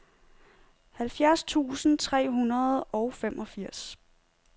halvfjerds tusind tre hundrede og femogfirs